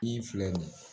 I filɛ nin ye